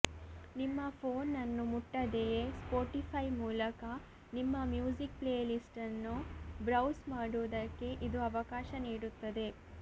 ನಿಮ್ಮ ಫೋನ್ ನ್ನು ಮುಟ್ಟದೆಯೇ ಸ್ಪೋಟಿಫೈ ಮೂಲಕ ನಿಮ್ಮ ಮ್ಯೂಸಿಕ್ ಪ್ಲೇಲಿಸ್ಟ್ ನ್ನು ಬ್ರೌಸ್ ಮಾಡುವುದಕ್ಕೆ ಇದು ಅವಕಾಶ ನೀಡುತ್ತದೆ